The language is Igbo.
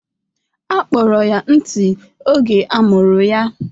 A kpọrọ ya ntị oge amụrụ ya